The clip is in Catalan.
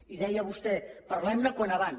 i deia vostè parlem ne com més aviat